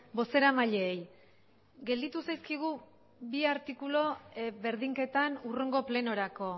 bozeramaileei gelditu zaizkigu bi artikulu berdinketan hurrengo plenorako